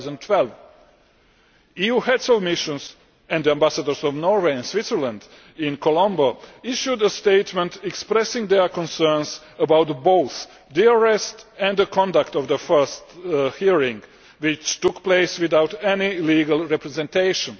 2012. EU Heads of Missions and the Ambassadors of Norway and Switzerland in Colombo issued a statement expressing their concerns about both the arrest and the conduct of the first hearing, which took place without any legal representation.